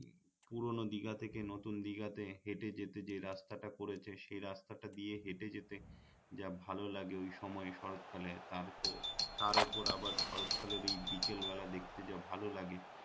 পুরোনো দিঘা থেকে নতুন দিঘাতে হেটে যেতে যে রাস্তাটা করেছে সে রাস্তাটা দিয়ে হেটে যেতে যা ভাল লাগে ওই সময়ে শরৎ কালে তার তার উপর আবার শরৎ কালের এই বিকেল বেলা দেখতে যা ভাল লাগে